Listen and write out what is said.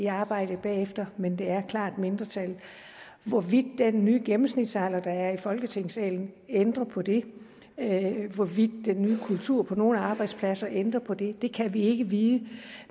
arbejde bagefter men det er klart et mindretal hvorvidt den nye gennemsnitsalder der nu er i folketingssalen vil ændre på det hvorvidt den nye kultur på nogle arbejdspladser vil ændre på det det kan vi ikke vide